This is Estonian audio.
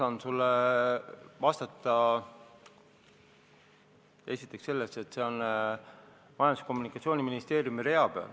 Ma saan sulle vastata esiteks seda, et see on Majandus- ja Kommunikatsiooniministeeriumi rea peal.